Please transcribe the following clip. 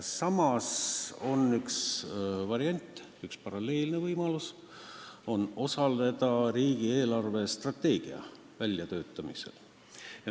Samas on üks variant, üks paralleelne võimalus – osaleda riigi eelarvestrateegia väljatöötamisel.